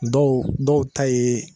Dɔw dɔw ta ye